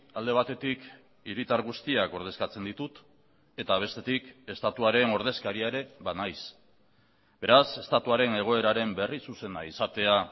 alde batetik hiritar guztiak ordezkatzen ditut eta bestetik estatuaren ordezkaria ere banaiz beraz estatuaren egoeraren berri zuzena izatea